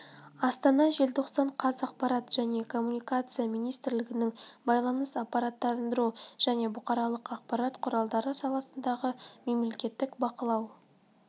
астана желтоқсан қаз ақпарат және коммуникация министрлігінің байланыс ақпараттандыру және бұқаралық ақпарат құралдары саласындағы мемлекеттік бақылау